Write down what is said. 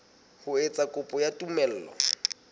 ho etsa kopo ya tumello